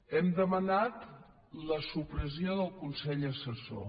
hem demanat la supressió del consell assessor